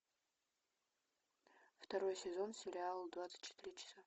второй сезон сериал двадцать четыре часа